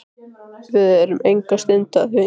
Við erum enga stund að því.